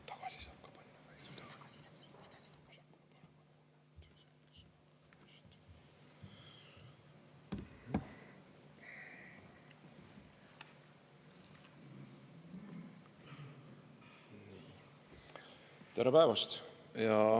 Tere päevast!